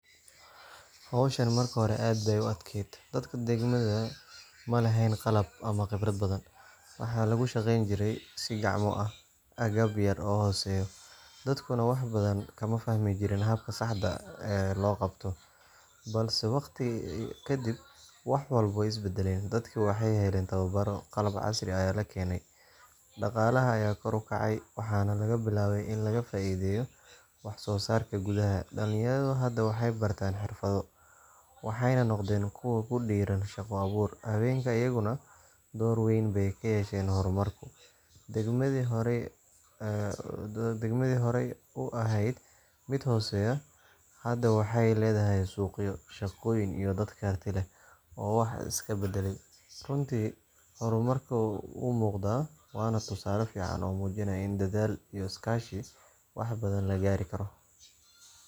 Hawshan markii hore aad bay u adkayd, dadka degmadu ma lahayn qalab ama khibrad badan. Waxaa lagu shaqeyn jiray si gacmo ah, agab yar oo hooseeya, dadkuna wax badan kama fahmi jirin habka saxda ah ee loo qabto. Balse waqti ka dib wax walba way is beddeleen. Dadkii waxay heleen tababarro, qalab casri ah ayaa la keenay, dhaqaalaha ayaa kor u kacay, waxaana la bilaabay in laga faa’iideeyo wax soo saarka gudaha. Dhalinyaradu hadda waxay bartaan xirfado, waxayna noqdeen kuwo ku dhiirran shaqo abuur. Haweenka iyaguna door weyn bay ku yeesheen horumarka. Degmadii horay u ahayd mid hooseysa hadda waxay leedahay suuqyo, shaqooyin, iyo dad karti leh oo wax iska baddalay. Runtii, horumarku wuu muuqdaa, waana tusaale fiican oo muujinaya in dadaal iyo is kaashi wax badan la gaari karo.